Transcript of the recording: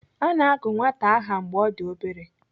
Ana agụ nwata aha mgbe ọ dị obere.